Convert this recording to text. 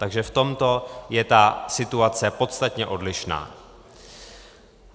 Takže v tomto je ta situace podstatně odlišná.